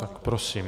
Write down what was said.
Tak prosím.